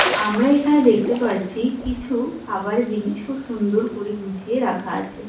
আমরা এখানে দেখতে পাচ্ছি কিছু খাবার জিনিস খুব সুন্দর করে গুছিয়ে রাখা আছে.